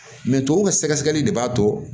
tubabuw ka sɛgɛsɛgɛli de b'a to